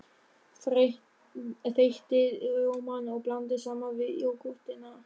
Þeytið rjómann og blandið saman við jógúrtina.